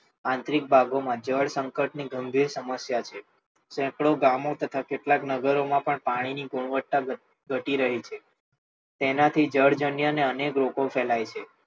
આંતરિક ભાગોમાં જળ સંચય જળશંકટની ગંભીર સમસ્યા છે સેકડો ગામો તથા કેટલાક નગરો માં પણ પાણીની ગુણવત્તા ઘટી રહી છે તેનાથી જળ જન્યોને અનેક રોગો